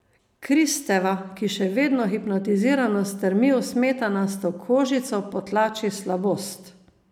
Kristeva, ki še vedno hipnotizirano strmi v smetanasto kožico, potlači slabost.